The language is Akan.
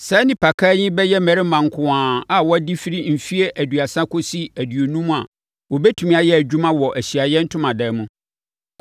Saa nnipakan yi bɛyɛ mmarima nko ara a wɔadi firi mfeɛ aduasa kɔsi aduonum a wɔbɛtumi ayɛ adwuma wɔ Ahyiaeɛ Ntomadan mu.